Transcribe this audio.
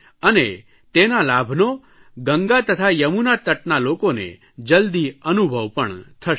અને તેના લાભનો ગંગા તથા યમુના તટના લોકોને જલદી અનુભવ પણ થશે